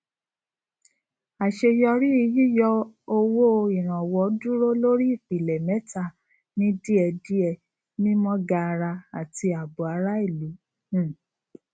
àṣeyọrí yíyọ owó ìrànwọ dúró lórí ìpìlẹ mẹta ní díẹdíẹ mímọ gaara àti ààbò ará ìlú um